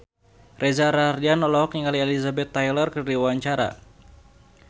Reza Rahardian olohok ningali Elizabeth Taylor keur diwawancara